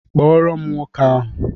Kpọrọ m nwoke ahụ!